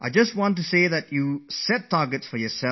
' I would like to say that you should set a target for yourself